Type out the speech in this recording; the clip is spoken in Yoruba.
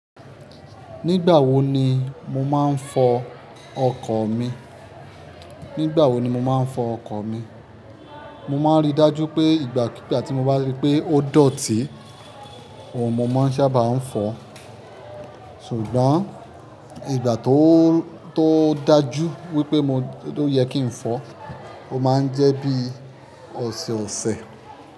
Nígbà wo ni mo máa ń fọ ọkọ̀ mi? Nígbà wo ni mo máa ń fọ ọkọ̀ mi? Mo máa ń rí dájú pé ìgbà kí ìgbà tí mo bá rí pé ó dọ̀tí, òun mo máa ń sábà ń fọ. Ṣùgbọ́n ìgbà tó, tó dájú wípé mo, tó yẹ kí n fọ, ó máa ń jẹ́ bí ọ̀sẹ̀ ọ̀sẹ̀.